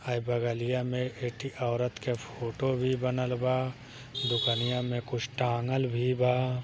हई बगलिया में एक ठी औरत के फोटो भी बनल बा दुकनिया में कुछ टांगल भी बा।